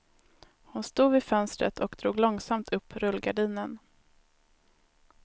Hon stod vid fönstret och drog långsamt upp rullgardinen.